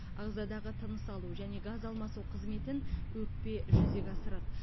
ағзадағы тыныс алу және газ алмасу қызметін өкпе жүзеге асырады